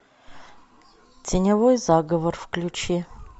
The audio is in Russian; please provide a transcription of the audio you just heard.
теневой заговор включи